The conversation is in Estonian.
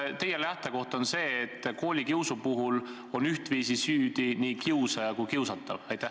Kas teie lähtekoht on see, et koolikiusu puhul on ühtviisi süüdi nii kiusaja kui ka kiusatav?